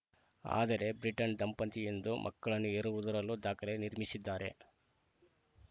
ಆದರೆ ಬ್ರಿಟನ್‌ ಡಂಪನ್ತಿಯೊಂದು ಮಕ್ಕಳನ್ನು ಹೆರುವುದರಲ್ಲೂ ದಾಖಲೆ ನಿರ್ಮಿಸಿದ್ದಾರೆ